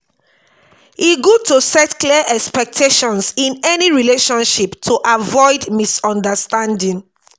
e good to set clear expectations in any relationship to avoid misunderstanding.